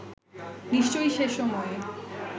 নিশ্চয়ই সে সময়ে